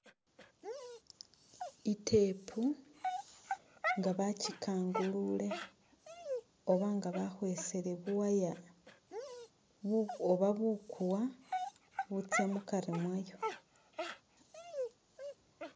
I’tape nga bakikangulule oba nga bakhwesele bu wire bu oba bukuwa butsa mukari mwayo.